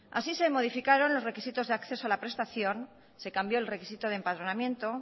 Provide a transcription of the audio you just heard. así se modificaron los requisitos de acceso a la prestación se cambió el requisito de empadronamiento